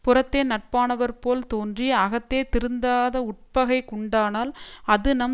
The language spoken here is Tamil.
புறத்தே நட்பானவர் போல் தோன்றி அகத்தே திருந்ததாத உட்பகை உண்டானால் அது நம்